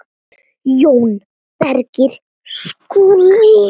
JÓN BEYKIR: Skúli!